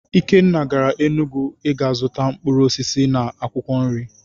Ikenna gara Enugwu i ga zụta mkpụrụ osisi na akwụkwọ nri.